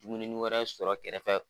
Dumuninin wɛrɛ sɔrɔ kɛrɛfɛ.